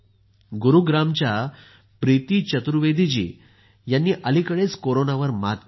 गुरूग्रामच्या प्रीती चतुर्वेदी जी यांनी अलीकडेच कोरोनावर मात केली आहे